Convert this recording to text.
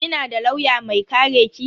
Kina da lauya mai kare ki?